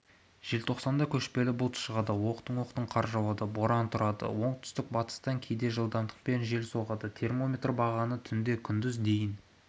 желтоқсанда көшпелі бұлт шығады оқтын-оқтын қар жауады боран тұрады оңтүстік-батыстан кейде жылдамдықпен жел соғады термометр бағаны түнде күндіз дейін